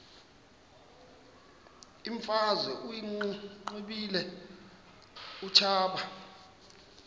imfazwe uyiqibile utshaba